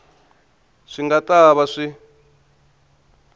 swi nga ta va swi